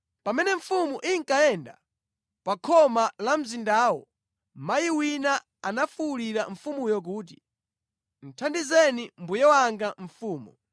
Pamene mfumu inkayenda pa khoma la mzindawo, mayi wina anafuwulira mfumuyo kuti, “Thandizeni mbuye wanga mfumu!”